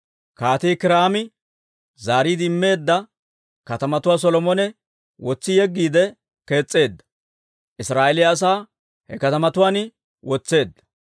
Kaatii Kiiraami zaariide immeedda katamatuwaa Solomone wotsi yeggiide kees's'eedda; Israa'eeliyaa asaa he katamatuwaan wotseedda.